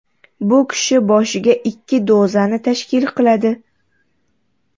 Bu kishi boshiga ikki dozani tashkil qiladi.